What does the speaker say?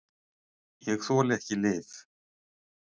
Ég þoli ekki lyf.